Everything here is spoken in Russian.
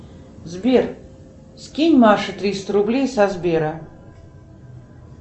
сбер скинь маше триста рублей со сбера